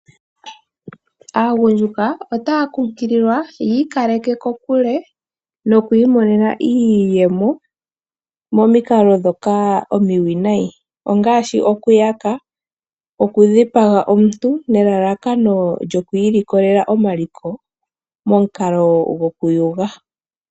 Aagundjuka otaya kunkililwa yiikaleke kokule nokwiimonena iiyemo momikalo ndhoka omiwinayi, ongaashi, okuyaka, okudhipaga omuntu nelalakano lyokwiilikolela omaliko momukalo gwokuyuga.